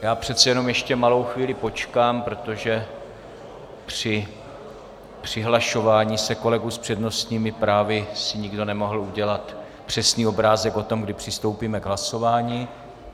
Já přece jenom ještě malou chvíli počkám, protože při přihlašování se kolegů s přednostními právy si nikdo nemohl udělat přesný obrázek o tom, kdy přistoupíme k hlasování.